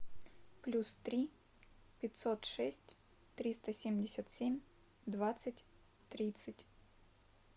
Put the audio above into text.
плюс три пятьсот шесть триста семьдесят семь двадцать тридцать